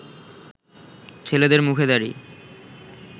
ছেলেদের মুখে দাড়ি